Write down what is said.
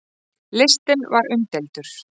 Listinn var umdeildur.